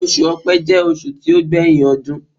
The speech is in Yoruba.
Osù Ọ̀pẹ jẹ́ oṣù tí ó gbé yín ọdún.